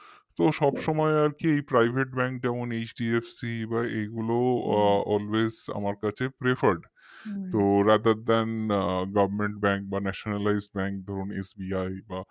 তো সবসময় আরকি private bank যেমন HDFC ভাই এগুলো always আমার কাছে preferred তো ratherthangovernmentbank বা nationalized bank ধরুন SBI